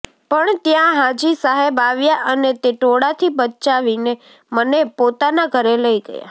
પણ ત્યાં હાજી સાહેબ આવ્યા અને તે ટોળાથી બચાવીને મને પોતાના ઘરે લઈ ગયા